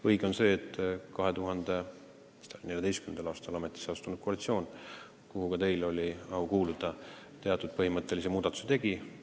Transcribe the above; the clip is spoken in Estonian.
Õige on see, et 2014. aastal ametisse astunud koalitsioon, kuhu ka teil oli au kuuluda, teatud põhimõttelisi muudatusi tegi.